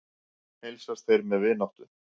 Heilsast þeir með vináttu.